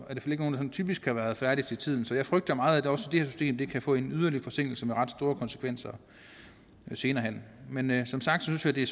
typisk har været færdige til tiden så jeg frygter meget at også det her system kan få en yderligere forsinkelse med ret store konsekvenser senere hen men som sagt synes jeg det